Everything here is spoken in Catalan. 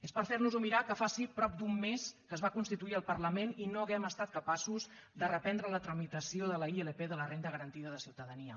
és per fer nos ho mirar que faci prop d’un mes que es va constituir el parlament i no hàgim estat capaços de reprendre la tramitació de la ilp de la renda garantida de ciutadania